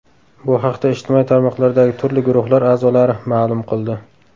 Bu haqda ijtimoiy tarmoqlardagi turli guruhlar a’zolari ma’lum qildi.